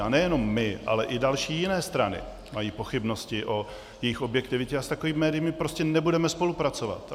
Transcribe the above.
A nejenom my, ale i další jiné strany mají pochybnosti o jejich objektivitě a s takovými médii my prostě nebudeme spolupracovat.